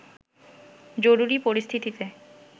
জরুরি পরিস্থিতিতে